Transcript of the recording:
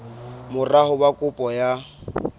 mora ho ba kopo ya